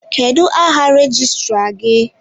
Kedụ áhà rejistra gị?